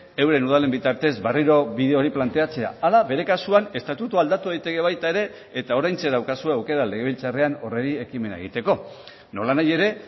euren udalen bitartez berriro bide hori planteatzea ala bere kasuan estatutua aldatu daiteke baita ere eta oraintxe daukazue aukera legebiltzarrean horri ekimena egiteko nolanahi ere